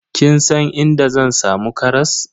Kin san inda zan samu karas?